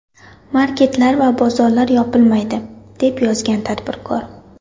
Marketlar va bozorlar yopilmaydi”, deb yozgan tadbirkor.